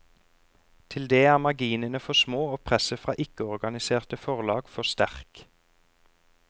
Til det er marginene for små og presset fra ikkeorganiserte forlag for sterk.